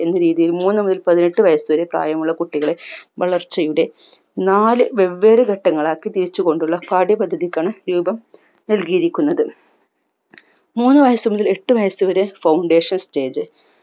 എന്ന രീതിയിൽ മൂന്നു മുതൽ പതിനെട്ടു വയസുവരെ പ്രായമുള്ള കുട്ടികളെ വളർച്ചയുടെ നാല് വെവ്വേറെ ഘട്ടങ്ങളാക്കി തിരിച്ചുകൊണ്ടുള്ള പാഠ്യപദ്ധതിക്കാണ് രൂപം നൽകിയിരിക്കുന്നത് മുന്നു വയസുമുതൽ എട്ടു വയസുവരെ foundation stage